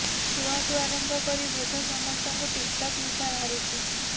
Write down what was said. ଛୁଆଠୁ ଆରମ୍ଭ କରି ବୃଦ୍ଧ ସମସ୍ତଙ୍କୁ ଟିକଟକ୍ ନିଶା ଘାରିଛି